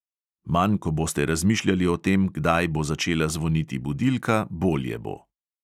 Manj ko boste razmišljali o tem, kdaj bo začela zvoniti budilka, bolje bo.